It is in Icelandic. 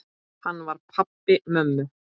Hann var pabbi mömmu.